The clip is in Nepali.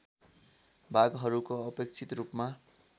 भागहरूको अपेक्षित रूपमा